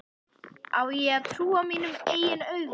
Á ég að trúa mínum eigin augum?